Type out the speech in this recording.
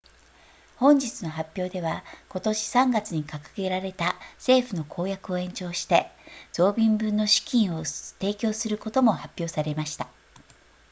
本日の発表では今年3月に掲げられた政府の公約を延長して増便分の資金を提供することも発表されました